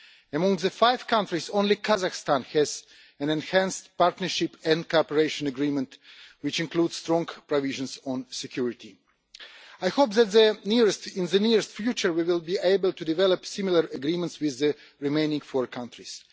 Among the five countries, only Kazakhstan has an enhanced partnership and cooperation agreement, which includes strong provisions on security. I hope that in the near future we will be able to develop similar agreements with the remaining four countries.